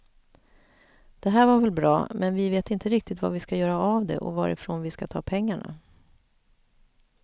Det här var väl bra, men vi vet inte riktigt vad vi ska göra av det och varifrån vi ska ta pengarna.